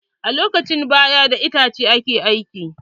A lokacin baya, da itace ake girki.